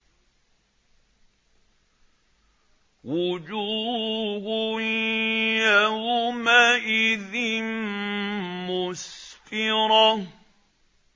وُجُوهٌ يَوْمَئِذٍ مُّسْفِرَةٌ